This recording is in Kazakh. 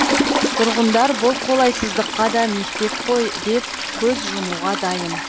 тұрғындар бұл қолайсыздыққа да мектеп қой деп көз жұмуға дайын